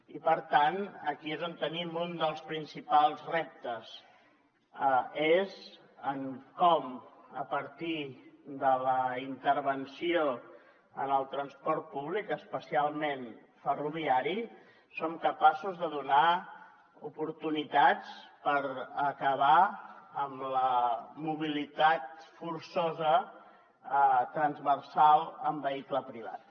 i per tant aquí és on tenim un dels principals reptes en com a partir de la intervenció en el transport públic especialment ferroviari som capaços de donar oportunitats per acabar amb la mobilitat forçosa transversal en vehicle privat